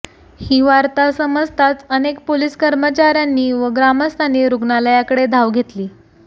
ही वार्ता समजताच अनेक पोलीस कर्मचार्यांनी व ग्रामस्थांनी रुग्णालयाकडे धाव घेतली